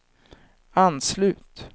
anslut